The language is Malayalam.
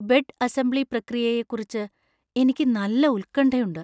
ബെഡ് അസംബ്ലി പ്രക്രിയയെക്കുറിച്ച് എനിക്ക് നല്ല ഉത്കണ്ഠയുണ്ട്.